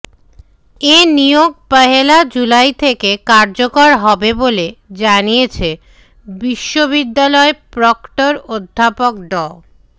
এ নিয়োগ পহেলা জুলাই থেকে কার্যকর হবে বলে জানিয়ে বিশ্ববিদ্যালয় প্রক্টর অধ্যাপক ড